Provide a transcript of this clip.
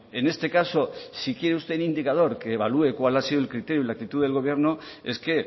en este caso si quiere usted un indicador que evalúe cuál ha sido el criterio y la actitud del gobierno es que